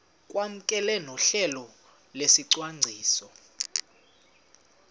kwamkelwe nohlelo lwesicwangciso